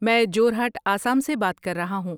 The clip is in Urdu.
میں جورہٹ، آسام سے بات کر رہا ہوں۔